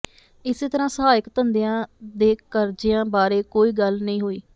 ਇਸੇ ਤਰ੍ਹਾਂ ਸਹਾਇਕ ਧੰਦਿਆਂ ਦੇ ਕਰਜ਼ਿਆਂ ਬਾਰੇ ਕੋਈ ਗੱਲ ਨਹੀਂ ਹੋਈ